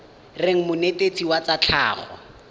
reng monetetshi wa tsa tlhago